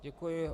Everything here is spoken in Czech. Děkuji.